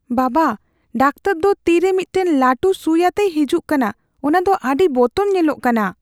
ᱵᱟᱵᱟ, ᱰᱟᱠᱴᱚᱨ ᱫᱚ ᱛᱤ ᱨᱮ ᱢᱤᱫᱴᱟᱝ ᱞᱟᱹᱴᱩ ᱥᱩᱭ ᱟᱛᱮᱭ ᱦᱤᱡᱩᱜ ᱠᱟᱱᱟ ᱾ ᱚᱱᱟ ᱫᱚ ᱟᱹᱰᱤ ᱵᱚᱛᱚᱨ ᱧᱮᱞᱚᱜ ᱠᱟᱱᱟ ᱾